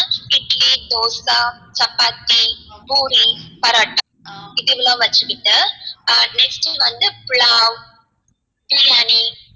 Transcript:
இட்லி தோசை சப்பாத்தி பூரி பரோட்டா இதுலாம் வச்சிக்கிட்டு ஆஹ் next வந்து புலாவ் பிரியாணி